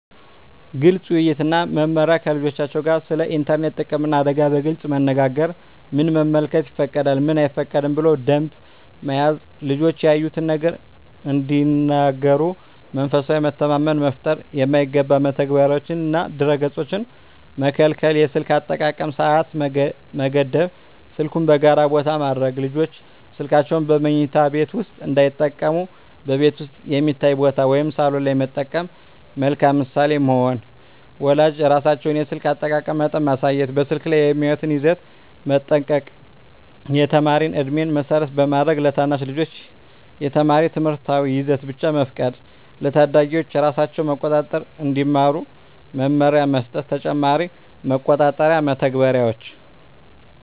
ግልፅ ውይይት እና መመሪያ ከልጆቻቸው ጋር ስለ ኢንተርኔት ጥቅምና አደጋ በግልፅ መነጋገር ምን መመልከት ይፈቀዳል፣ ምን አይፈቀድም ብሎ ደንብ መያዝ ልጆች ያዩትን ነገር እንዲነግሩ መንፈሳዊ መተማመን መፍጠር የማይገባ መተግበሪያዎችንና ድረ-ገፆችን መከልከል የስልክ አጠቃቀም ሰዓት መገደብ ስልኩን በጋራ ቦታ ማድረግ ልጆች ስልካቸውን በመኝታ ቤት ውስጥ እንዳይጠቀሙ በቤት ውስጥ የሚታይ ቦታ (ሳሎን) ላይ መጠቀም መልካም ምሳሌ መሆን ወላጆች ራሳቸው የስልክ አጠቃቀም መጠን ማሳየት በስልክ ላይ የሚያዩትን ይዘት መጠንቀቅ የተማሪ ዕድሜን መሰረት ማድረግ ለታናሽ ልጆች የተማሪ ትምህርታዊ ይዘት ብቻ መፍቀድ ለታዳጊዎች ራሳቸውን መቆጣጠር እንዲማሩ መመሪያ መስጠት ተጨማሪ መቆጣጠሪያ መተግበሪያዎች